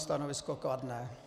Stanovisko kladné.